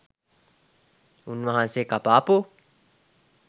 උන්වහන්සේ කපාපු